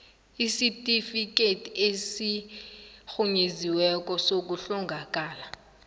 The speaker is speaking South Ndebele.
isitifikhethi esirhunyeziweko sokuhlongakala